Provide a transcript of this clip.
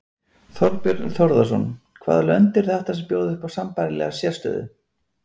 Þorbjörn Þórðarson: Hvaða lönd eru þetta sem að bjóða upp á sambærilega sérstöðu?